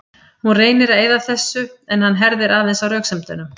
Hún reynir að eyða þessu en hann herðir aðeins á röksemdunum.